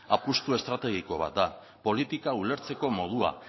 apustu estrategiko bat da politika ulertzeko modua